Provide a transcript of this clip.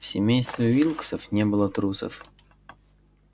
в семействе уилксов не было трусов